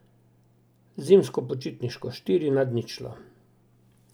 Zimsko počitniško, štiri nad ničlo.